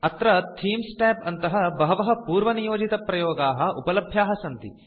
अत्र themes Tab अन्तः बहवः पूर्वनियोजितप्रयोगाः उपलभ्याः सन्ति